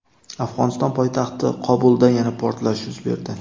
Afg‘oniston poytaxti Qobulda yana portlash yuz berdi.